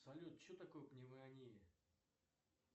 салют что такое пневмония